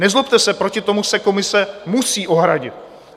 Nezlobte se, proti tomu se komise musí ohradit.